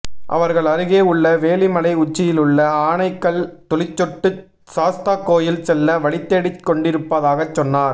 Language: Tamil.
அவர்கள் அருகே உள்ள வேளிமலை உச்சியிலுள்ள ஆனைக்கல் துளிச்சொட்டு சாஸ்தாகோயில் செல்ல வழிதேடிக்கொண்டிருப்பதாகச் சொன்னார்